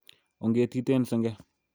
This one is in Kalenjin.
O'ngetiten senge